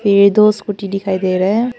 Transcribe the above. ये दो स्कूटी दिखाई दे रहा है।